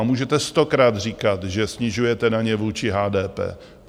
A můžete stokrát říkat, že snižujete daně vůči HDP.